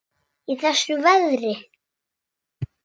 Í þessu veðri?